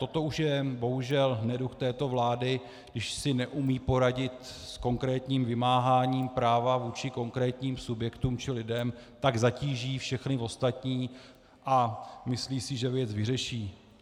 Toto už je bohužel neduh této vlády - když si neumí poradit s konkrétním vymáháním práva vůči konkrétním subjektům či lidem, tak zatíží všechny ostatní a myslí si, že věc vyřeší.